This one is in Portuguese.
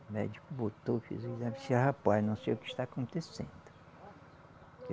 O médico botou, fez o exame e disse, rapaz, não sei o que está acontecendo.